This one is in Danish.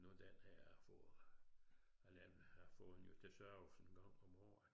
Nå den her jeg har fået jeg får den jo til service en gang om året